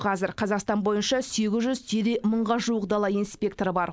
қазір қазақстан бойынша сегіз жүз тире мыңға жуық дала инспекторы бар